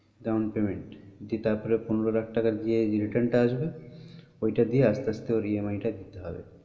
Down payment দিয়ে তার পরে পনেরো লাখ টাকা দিয়ে যে return টা আসবে ওই টা দিয়ে আস্তে আস্তে ওর EMI টা দিতে হবে।